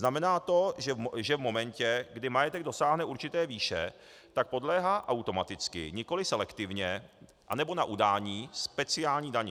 Znamená to, že v momentě, kdy majetek dosáhne určité výše, tak podléhá automaticky, nikoli selektivně nebo na udání, speciální dani.